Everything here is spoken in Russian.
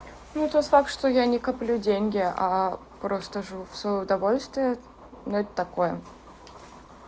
ну тот факт что я не коплю деньги а просто живу в своё удовольствие но это такое